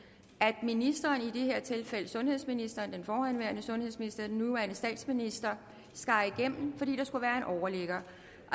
at ministeren i det her tilfælde sundhedsministeren altså den forhenværende sundhedsminister den nuværende statsminister skar igennem fordi der skulle være en overligger